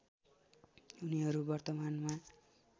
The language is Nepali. उनीहरू वर्तमानमा